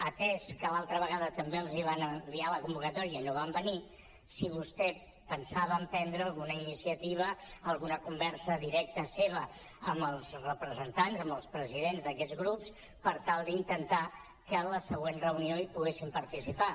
atès que l’altra vegada també els van enviar la convocatòria i no van venir si vostè pensava emprendre alguna iniciativa alguna conversa directa seva amb els representants amb els presidents d’aquests grups per tal d’intentar que a la següent reunió hi poguessin participar